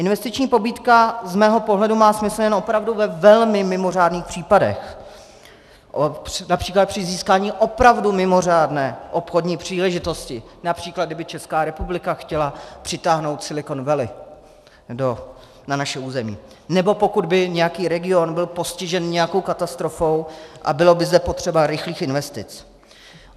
Investiční pobídka z mého pohledu má smysl jen opravdu ve velmi mimořádných případech, například při získání opravdu mimořádné obchodní příležitosti, například kdyby Česká republika chtěla přitáhnout Silicon Valley na naše území nebo pokud by nějaký region byl postižen nějakou katastrofou a bylo by zde potřeba rychlých investic.